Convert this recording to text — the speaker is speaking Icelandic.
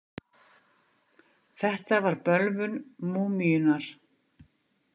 Þetta var bölvun múmíunnar.